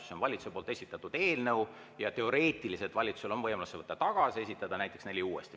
See on valitsuse esitatud eelnõu ja teoreetiliselt on valitsusel võimalus võtta see tagasi, esitada näiteks neli uuesti.